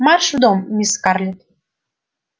марш в дом мисс скарлетт